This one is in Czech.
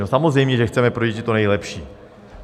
No samozřejmě, že chceme pro děti to nejlepší.